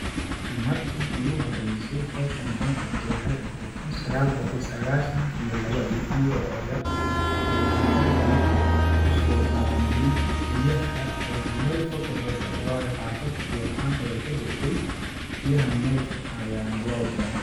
Markii iigu horeyse hawshani aan qabto waxeey eheed kun sagaal boqol sagaashan iyo lawadii ,aniga oo yar ayaa garjan kusoo dhamiyay biyaha ayaan meel fog kasoo dare waayoo xaafad biya la'an ayaa ka jirtay ,biyaha meel fog ayaana loo donaa .